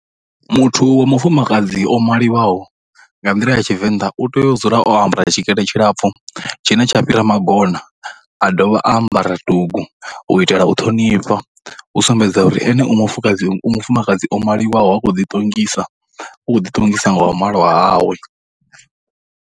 Muthu wa mufumakadzi o maliwaho nga nḓila ya tshivenḓa u tea u dzula o ambara tshikete tshilapfhu tshine tsha fhira magona, a dovha a ambara dugu u itela u ṱhonifha u sumbedza uri ene u mufukadzi u mufumakadzi o maliwaho a khou ḓi ṱongisa, u khou ḓi ṱongisa nga wa malwa hawe.